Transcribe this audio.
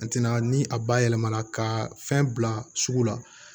A tɛna ni a ba yɛlɛma la ka fɛn bila sugu la